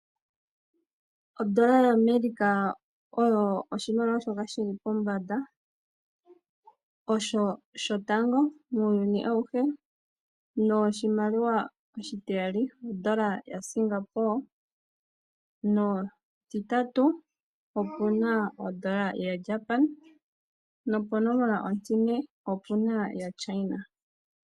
Ondola yAmerika oyo oshimaliwa shili pombanda , osho shotango muuyuni auhe , oshitiyali opuna ondola yaSingapore, noshititatu opuna ondola yaJapan noponomola ontine opuna shaChina.